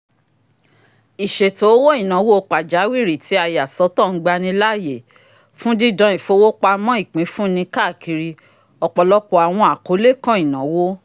iṣeto owo-inawo pajawiri ti a yasọtọ ngbanilaaye fun didan ifowopamọ ipinfunni káàkiri ọpọlọpọ awọn akole kàn inawo